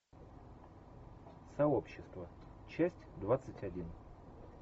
сообщество часть двадцать один